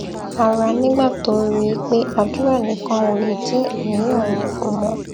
ara nígbà tó rí i pé àdúrà nìkan ò lè dín àníyàn òun kù mó